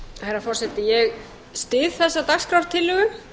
herra forseti ég styð þessa dagskrártillögu